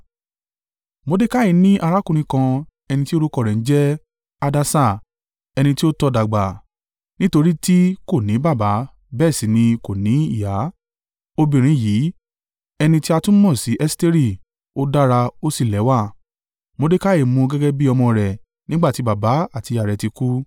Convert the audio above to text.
Mordekai ní arákùnrin kan ẹni tí orúkọ rẹ̀ ń jẹ́ Hadassa, ẹni tí ó tọ́ dàgbà nítorí tí kò ní baba bẹ́ẹ̀ sì ni kò ní ìyá. Obìnrin yìí, ẹni tí a tún mọ̀ sí Esteri, ó dára ó sì lẹ́wà, Mordekai mú u gẹ́gẹ́ bí ọmọ rẹ̀ nígbà tí baba àti ìyá rẹ̀ ti kú.